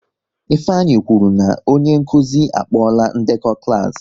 Ifeanyị kwụrụ na onye nkụzi a kpola ndekọ klas